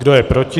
Kdo je proti?